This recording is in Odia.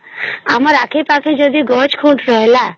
ଆମର ଆଖେ ପକ୍ଷେ ଯଦି ଗଛ ଖୋଜୁଛ ହେଲା